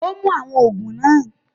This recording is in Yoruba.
Ó mú àwọn òògùn náà